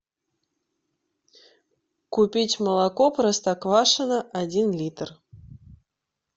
купить молоко простоквашино один литр